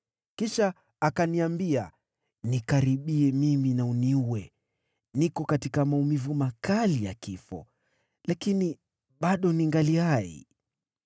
“Kisha akaniambia, ‘Nikaribie mimi na uniue! Niko katika maumivu makali ya kifo, lakini bado ningali hai.’